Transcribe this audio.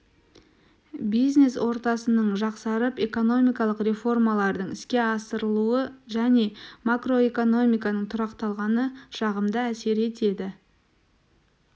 бизнес ортасының жақсарып экономикалық реформалардың іске асырылуы және макроэкономиканың тұрақталғаны жағымды әсер етеді